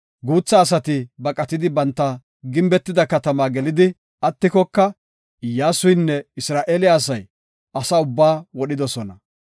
Guutha asati baqatidi banta gimbetida katamaa gelidi attikoka, Iyyasuynne Isra7eele asay asa ubbaa wodhidosona.